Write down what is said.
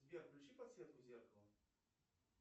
сбер включи подсветку зеркала